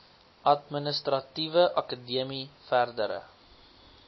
administratiewe akademie verdere